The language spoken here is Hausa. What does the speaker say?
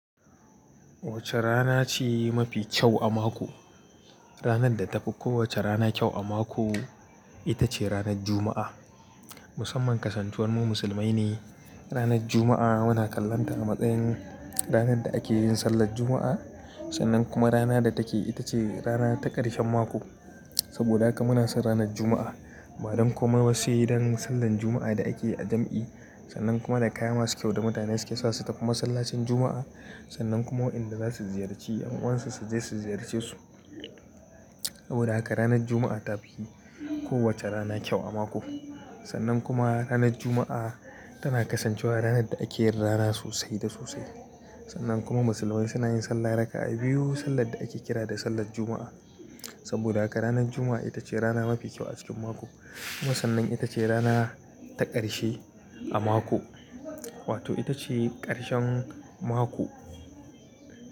Wace rana ce mafi kyau a mako? Ranar da ta fi kowace rana kyau a mako ita ce ranar Juma'a. Musamman kasancewar mu musulmai ne, ranar Juma'a muna kallonta a matsayin ranar da ake yin sallar Juma'a sannan kuma rana da take ita ce rana ta ƙarshen mako. Saboda haka muna son ranar Juma'a. Badan komai ba sai dan sallar Juma'a da ake yi a jam'i sannan kuma da kaya masu kyau da mutane suke sa su tafi masallacin Juma'a sannan kuma waƴanda za su ziyarci ƴan uwansu su je su ziyarce su. Saboda haka ranar Juma'a ta fi kowace rana kyau a mako. Sannan kuma ranar Juma'a tana kasancewa ranar da ake yin rana sosai da sosai. Sannan kuma musulmai suna yin sallah rak'a biyu, sallar da ake kira da sallar Juma'a. Saboda haka ranar Juma'a ita ce rana mafi kyau a cikin mako kuma sannan ita ce rana ta ƙarshe a mako wato ita ce ƙarshen mako.